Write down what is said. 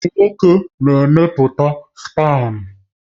Ụmụ nwoke na-emepụta spam